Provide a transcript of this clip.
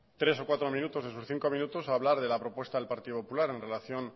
tres o cuatro minutos de sus cinco minutos a hablar de la propuesta del partido popular en relación